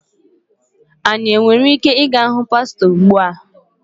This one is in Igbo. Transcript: Anyị nwere ike ịga hụ pastọ ugbu a?